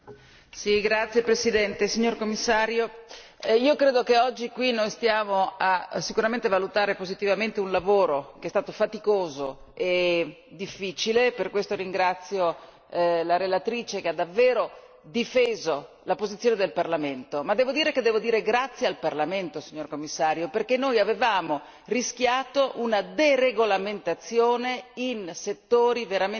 Signora Presidente, onorevoli colleghi, signor Commissario, io credo che oggi qui noi stiamo a valutare positivamente un lavoro che è stato faticoso e difficile e per questo ringrazio la relatrice che ha davvero difeso la posizione del Parlamento ma devo dire grazie al Parlamento, signor Commissario, perché noi avevamo rischiato una deregolamentazione